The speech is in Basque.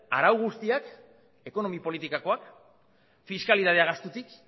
dira arau guztiak ekonomi politikakoak fiskalitatea gastutik